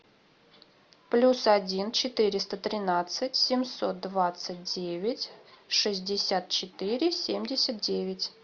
плюс один четыреста тринадцать семьсот двадцать девять шестьдесят четыре семьдесят девять